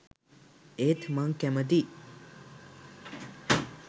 ඒත් මං කැමතියි